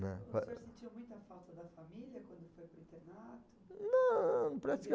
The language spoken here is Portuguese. né. O senhor sentiu muita falta da família quando foi para o internato? Não, para ser